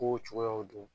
Kow cogoyaw don